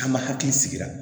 K'an ma hakili sigi